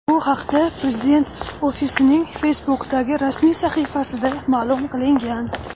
Bu haqda Prezident ofisining Facebook’dagi rasmiy sahifasida ma’lum qilingan .